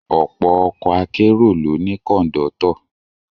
Ọ̀pọ̀ ọkọ̀ akérò ló ní Kọ̀ńdọ́tọ̀